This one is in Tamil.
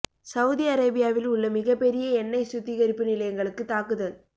சவுதி அரேபியாவில் உள்ள மிகப் பெரிய எண்ணெய் சுத்திகரிப்பு நிலையங்களுக்கு தாக்குதல்